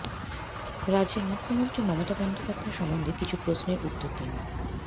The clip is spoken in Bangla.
রাজ্যের মুখ্যমন্ত্রী মমতা বন্দ্যোপাধ্যায় সম্বন্ধে কিছু প্রশ্নের উত্তর দিন